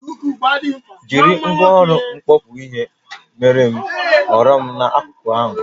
Jiri ngwaọrụ mkpọkpụ ihe meere m oghere n'akụkụ ahụ